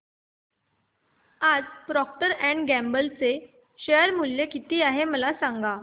आज Procter and Gamble चे share मूल्य किती आहे मला सांगा